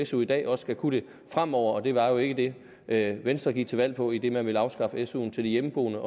su i dag også skal kunne det fremover og det var jo ikke det venstre gik til valg på idet man ville afskaffe suen til de hjemmeboende